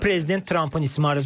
Bu prezident Trampın ismarıcıdır.